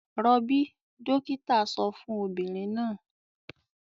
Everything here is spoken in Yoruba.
"Rọbí!" dọ́kítá sọ fún obìnrin náà.